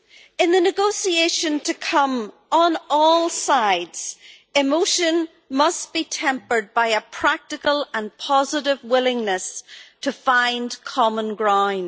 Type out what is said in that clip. In the negotiation to come, on all sides emotion must be tempered by a practical and positive willingness to find common ground.